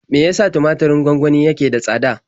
Me ya sa tumaturin gwangwani yake da tsada?